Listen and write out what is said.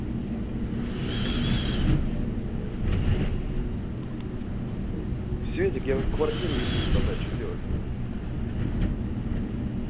светик я вот квартиру решил продать что делать